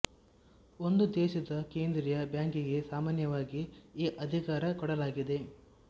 ಒಂದು ದೇಶದ ಕೇಂದ್ರೀಯ ಬ್ಯಾಂಕಿಗೆ ಸಾಮಾನ್ಯವಾಗಿ ಈ ಅಧಿಕಾರ ಕೊಡಲಾಗಿದೆ